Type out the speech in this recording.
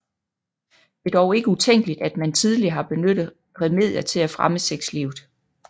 Det er dog ikke utænkeligt at man tidligere har benyttet remedier til at fremme sexlivet